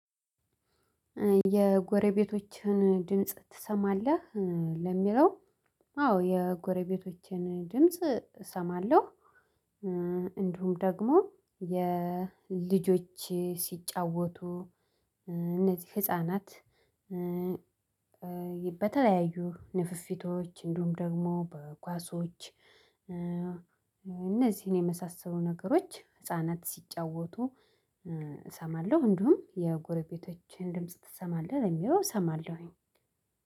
የጎረቤቶችህን ድምጽ ትሰማለህ ለሚለው? አዎ የጎረቤቶችን ድምጽ እሰማለሁ። እንዲሁም ደግሞ የልጆቼችሲጫወቱ እነዚህ ህፃናት። በተለያዩ ንፊፊቶች እንዲሁም ደግሞ በኳሶች እነዚህን የመሳሰሉ ነገሮች ህፃናት ሲጫወቱ እሰማለሁ። እንዲሁም የጎረቤቶችህን ድምጽ ትሰማለህ ለሚለው? እሰማለሁኝ።